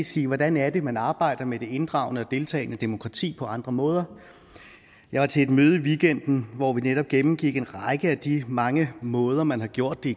sige hvordan er det man arbejder med det inddragende og deltagende demokrati på andre måder jeg var til et møde i weekenden hvor vi netop gennemgik en række af de mange måder man har gjort det